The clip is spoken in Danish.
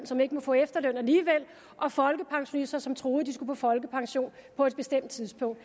som ikke må få efterløn alligevel og folkepensionister som troede de skulle på folkepension på et bestemt tidspunkt